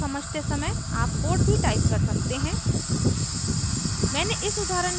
इस उदाहरण को समझते समय आप कोड भी टाइप कर सकते हैं